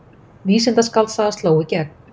Vísindaskáldsaga sló í gegn